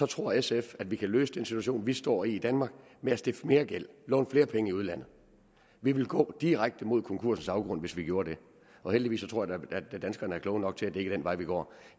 tror sf at vi kan løfte den situation vi står i i danmark ved at stifte mere gæld låne flere penge i udlandet vi ville gå direkte mod konkursens afgrund hvis vi gjorde det og heldigvis tror jeg danskerne er kloge nok til at det ikke er den vej vi går